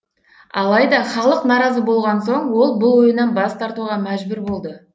алайда халық наразы болған соң ол бұл ойынан бас тартуға мәжбүр болды